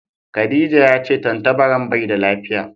Khadijah ya ce tantabaran bai da lafiya.